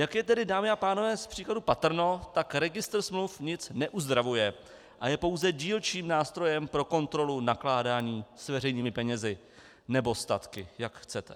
Jak je tedy, dámy a pánové, z příkladů patrno, tak registr smluv nic neuzdravuje a je pouze dílčím nástrojem pro kontrolu nakládání s veřejnými penězi nebo statky, jak chcete.